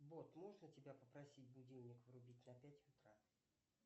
бот можно тебя попросить будильник врубить на пять утра